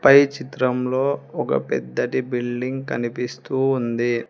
పై చిత్రంలో ఒక పెద్దటి బిల్డింగ్ కనిపిస్తూ ఉంది.